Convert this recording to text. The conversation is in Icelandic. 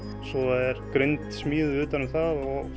svo er grind smíðuð utan um það og